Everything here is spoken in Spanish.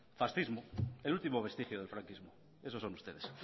fascismo el último vestigio del franquismo eso son ustedes